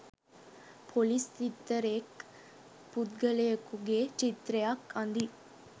police සිත්තරෙක් පුද්ගලයකුගේ චිත්‍රයක් අඳියි